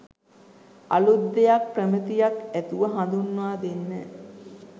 අලුත් දෙයක් ප්‍රමිතියක් ඇතුව හඳුන්වා දෙන්න.